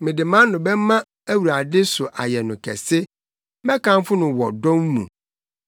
Mede mʼano bɛma Awurade so ayɛ no kɛse; mɛkamfo no wɔ dɔm mu.